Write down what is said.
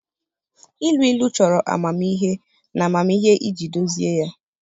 Ilu ilu chọrọ amamihe na amamihe iji dozie ya